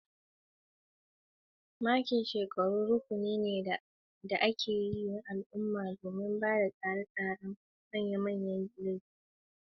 Makin shekaru rukuni ne na al'umma da aka tsara tare da ayyuka daban-daban.